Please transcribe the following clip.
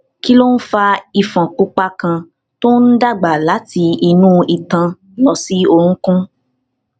kí ló ń fa ifon pupa kan tó ń dàgbà láti inú itan lọ sí orunkun